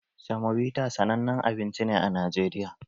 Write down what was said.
Semobita sanannen abinci ne a Najeriya